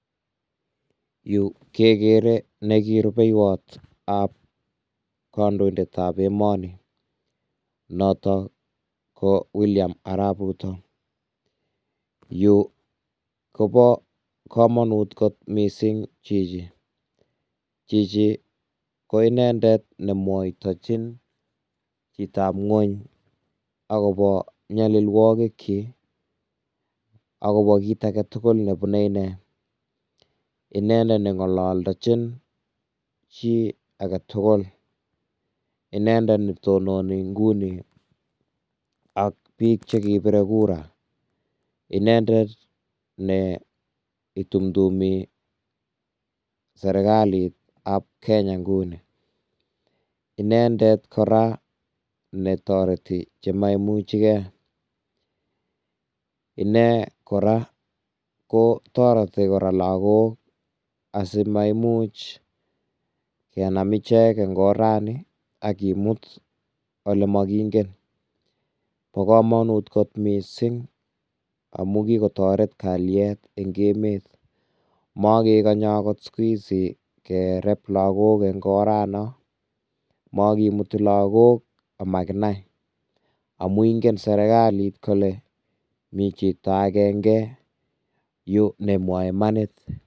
Yu kekere neki rubeywot ab kandoindet ab emoni notok ko William arap ruto, yu Kobo kamonut kot mising chichi, chichi ko indendet nemwotochin jitab ngwony akobo nyailwokik jik, akobo kit aketugul nebune inee, indet nengolokdojin jii ake tugul, inendet netononi inguni ak bik chekibire kura, indendet ne itumdumi serikalit ab Kenya inguni, inendet kora netoreti chemomucheke, inee kora ko toreti kora lakok asiamaimuch kenam ichek eng oranyi akimut olemokingen,, bo kamanut kot mising amun kikotoret kalyet eng emet mokekonye akot siku hizi kereb lakok eng oranon, makimuti lakok amakinai, amun ingen serikalit kole mi chito akenge yu nemwoe imanit.